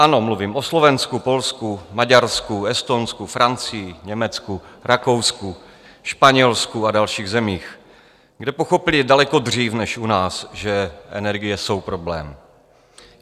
Ano, mluvím o Slovensku, Polsku, Maďarsku, Estonsku, Francii, Německu, Rakousku, Španělsku a dalších zemích, kde pochopili daleko dřív než u nás, že energie jsou problém.